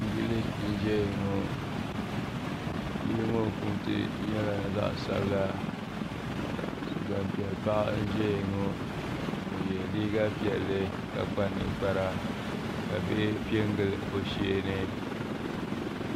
Yili n ʒɛya ŋɔ yili ŋɔ punti nyɛla zaɣ sabila Gbanpiɛli paɣa n ʒɛya ŋɔ o yɛ liiga piɛlli ka kpa ninkpara ka bihi piɛ n gili o sheeni